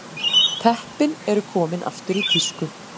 Teppin eru komin aftur í tísku